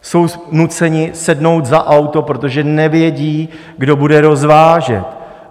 Jsou nuceni sednout za auto, protože nevědí, kdo bude rozvážet.